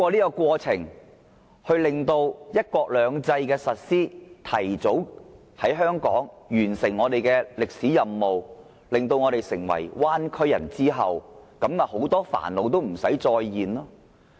是否通過"一地兩檢"的實施，使香港提早完成其歷史任務，使我們變成了"灣區人"，到時很多煩惱也不會再出現？